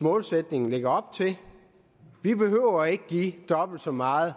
målsætning lægger op til vi behøver ikke at give dobbelt så meget